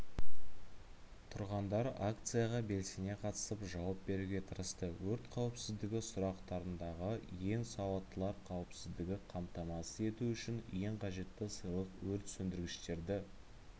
тұрғандар акцияға белсене қатысып жауап беруге тырысты өрт қауіпсіздігі сұрақтарындағы ең сауаттылар қауіпсіздікті қамтамасыз ету үшін ең қажетті сыйлық өрт сөндіргіштерді